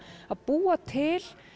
að búa til